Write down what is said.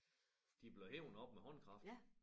Det blevet hevet op med håndkraft